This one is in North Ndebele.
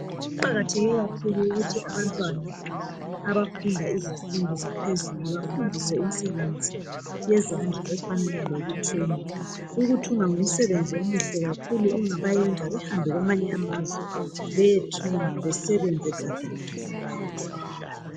Kuqakatheke kakhulu ukuthi abantwana abafunda izifundo zaphezulu bafundiswe imsebenzi yezandla efana lokuthunga , ukuthunga ngumsebenzi omuhle kakhulu ongabayenza behambe kwamanye amazwe beyerhunga besebenze gadalala